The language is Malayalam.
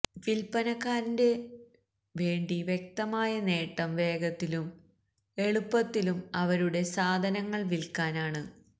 വിൽപ്പനക്കാരന്റെ വേണ്ടി വ്യക്തമായ നേട്ടം വേഗത്തിലും എളുപ്പത്തിലും അവരുടെ സാധനങ്ങൾ വിൽക്കാൻ ആണ്